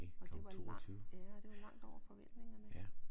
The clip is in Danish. Og det var langt ja og det var langt over forventningerne